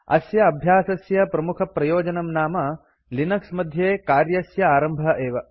अस्य अभ्यासस्य प्रमुखप्रयोजनं नाम लिनक्स मध्ये कार्यस्य आरम्भः एव